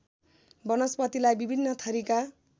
वनस्पतिलाई विभिन्न थरीका